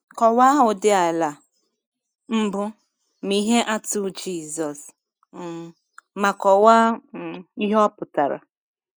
Kọwaa ụdị ala mbụ na ihe atụ Jisọs, um ma kọwaa um ihe ọ pụtara.